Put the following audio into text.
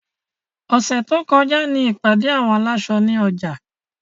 Ọ̀sẹ̀ tó kọjá ní ìpàdé àwọn aláṣọ ní ọjà.